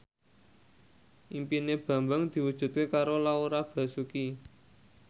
impine Bambang diwujudke karo Laura Basuki